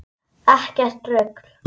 Ekkert rugl!